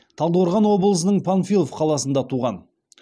талдықорған облысының панфилов қаласында туған